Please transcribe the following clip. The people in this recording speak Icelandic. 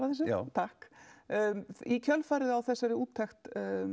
þessu já í kjölfarið á úttekt